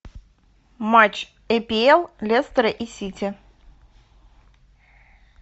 матч апл лестера и сити